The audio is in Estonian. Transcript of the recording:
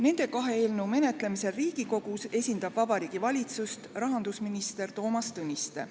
Nende kahe eelnõu menetlemisel Riigikogus esindab Vabariigi Valitsust rahandusminister Toomas Tõniste.